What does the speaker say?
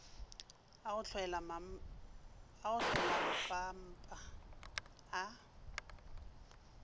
a go hlwela mpampa a